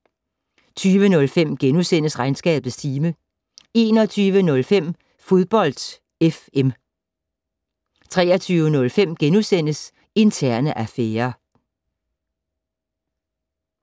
20:05: Regnskabets time * 21:05: Fodbold FM 23:05: Interne affærer *